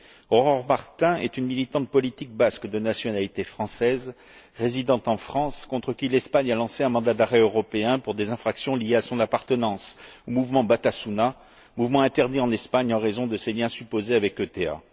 Aurore Martin est une militante politique basque de nationalité française, résidant en France, contre qui l'Espagne a lancé un mandat d'arrêt européen pour des infractions liées à son appartenance au mouvement Batasuna, mouvement interdit en Espagne en raison de ses liens supposés avec l'ETA.